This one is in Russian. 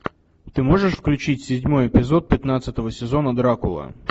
ты можешь включить седьмой эпизод пятнадцатого сезона дракула